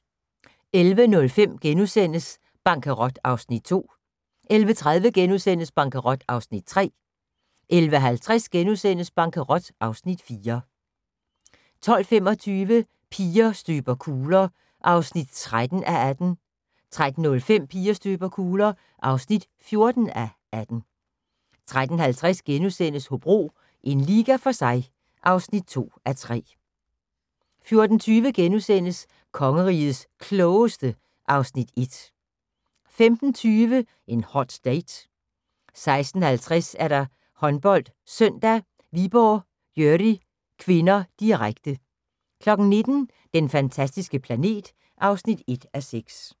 11:05: Bankerot (Afs. 2)* 11:30: Bankerot (Afs. 3)* 11:55: Bankerot (Afs. 4)* 12:25: Piger støber kugler (13:18) 13:05: Piger støber kugler (14:18) 13:50: Hobro – en liga for sig (2:3)* 14:20: Kongerigets Klogeste (Afs. 1)* 15:20: En hot date 16:50: HåndboldSøndag: Viborg-Györi (k), direkte 19:00: Den fantastiske planet (1:6)